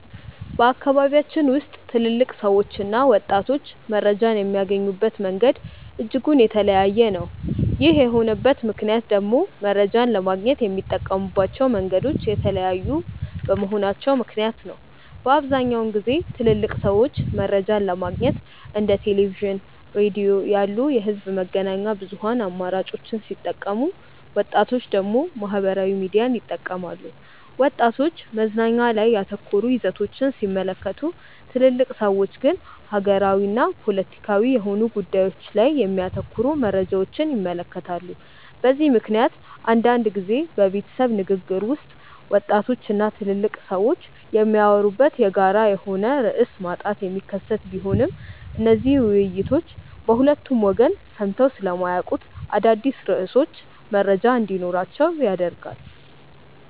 በአካባቢያችን ውስጥ ትልልቅ ሰዎችና ወጣቶች መረጃን የሚያገኙበት መንገድ እጅጉን የተለያየ ነው። ይህ የሆነበት ምክንያት ደግሞ መረጃን ለማግኘት የሚጠቀሙባቸው መንገዶች የተለያዩ በመሆናቸው ምክንያት ነው። በአብዛኛውን ጊዜ ትልልቅ ሰዎች መረጃን ለማግኘት እንደ ቴሌቪዥን፣ ሬዲዮ ያሉ የህዝብ መገናኛ ብዙሃን አማራጮችን ሲጠቀሙ ወጣቶች ደግሞ ማህበራዊ ሚዲያን ይጠቀማሉ። ወጣቶች መዝናኛ ላይ ያተኮሩ ይዘቶችን ሲመለከቱ ትልልቅ ሰዎች ግን ሀገራዊና ፖለቲካዊ የሆኑ ጉዳዮች ላይ የሚያተኩሩ መረጃዎችን ይመለከታሉ። በዚህ ምክንያት አንዳንድ ጊዜ በቤተሰብ ንግግር ውስጥ ወጣቶች እና ትልልቅ ሰዎች የሚያወሩበት የጋራ የሆነ ርዕስ ማጣት የሚከሰት ቢሆንም እነዚህ ውይይቶች በሁለቱ ወገን ሰምተው ስለማያውቁት አዳዲስ ርዕሶች መረጃ እንዲኖራቸው ያደርጋል።